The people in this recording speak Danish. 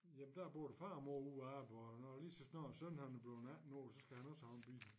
Jamen der er både far og mor ude og arbejde og når lige så snart sønnen er bleven 18 år så skal han også have en bil